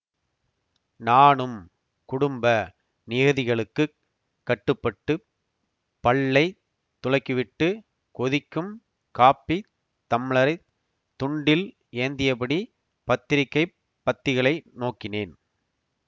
நானும் குடும்ப நியதிகளுக்குக் கட்டுப்பட்டு பல்லை துலக்கிவிட்டு கொதிக்கும் காப்பித் தம்ளரைத் துண்டில் ஏந்தியபடி பத்திரிக்கைப் பத்திகளை நோக்கினேன்